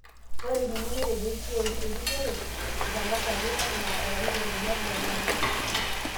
Ore ninye netejoki kioru erikori itangasaki enaa olarikoni legelare